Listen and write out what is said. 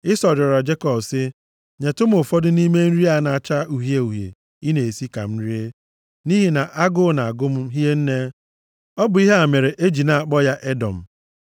Ịsọ rịọrọ Jekọb sị, “Nyetụ m ụfọdụ nʼime nri a na-acha uhie uhie ị na-esi ka m rie, nʼihi na agụụ na-agụ m hie nne.” (Ọ bụ ihe a mere e ji na-akpọ ya Edọm. + 25:30 Edọm pụtara uhie.)